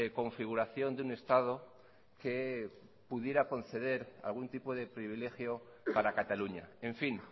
configuración de un estado que pudiera conceder algún tipo de privilegio para cataluña en fin